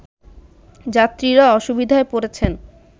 যাত্রীরা অসুবিধায় পড়েছেন